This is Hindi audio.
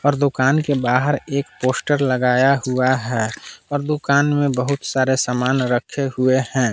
और दुकान के बाहर एक पोस्टर लगाया हुआ है और दुकान में बहुत सारे सामान रखे हुए है।